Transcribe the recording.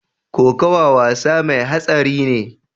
Kokawa wasa mai hatsari ne.